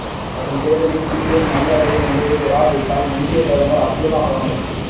வரும் தேர்தலில் பிஎன் நல்ல அடைவு நிலையைப் பெறா விட்டால் முந்திய பிரதமர் அப்துல்லா அகமட்